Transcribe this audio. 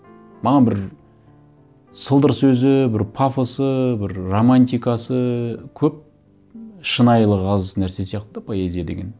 маған бір сылдыр сөзі бір пафосы бір романтикасы көп шынайылығы аз нәрсе сияқты да поэзия деген